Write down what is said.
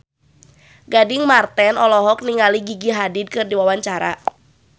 Gading Marten olohok ningali Gigi Hadid keur diwawancara